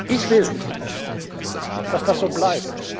hat. Ich will, dass das so